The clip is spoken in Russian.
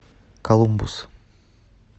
колумбус